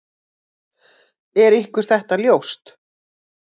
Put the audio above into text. Er ykkur þetta ljóst?